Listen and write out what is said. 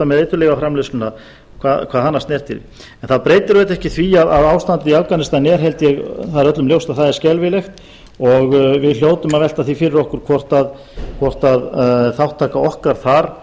með eiturlyfjaframleiðsluna snertir það breytir auðvitað ekki því að ástandið í afganistan er held ég það er öllum ljóst að það er skelfilegt og við hljótum að velta því fyrir okkur hvort þátttaka okkar þar